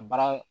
Baara